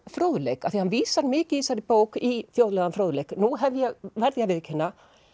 fróðleik af því hann vísar mikið í þessari bók í þjóðlegan fróðleik nú verð ég að viðurkenna